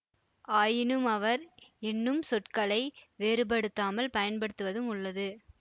ஆயினும் அவர் என்னும் சொற்களை வேறுபடுத்தாமல் பயன்படுத்துவதும் உள்ளது